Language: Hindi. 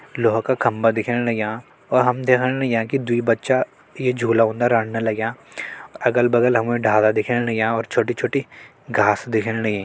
लोहा का खम्बा दिखेण लग्यां और हम देखण लग्यां कि दुइ बच्चा ई झूला उन्द रढ़न लग्यां अगल-बगल हमल डाला दिखेण लग्यां और छोटी-छोटी घास दिखेण लग्यीं।